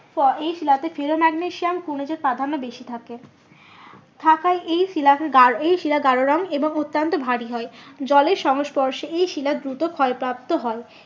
এই শিলাতে ফিলো ম্যাগনেসিয়াম খনিজ প্রাধান্য বেশি থাকে। থাকায় এই শিলাকে এই শিলা গারো রং এবং অত্যান্ত ভারী হয়। জলের সংস্পর্শে এই শিলা দূত ক্ষয়প্রাপ্ত হয়।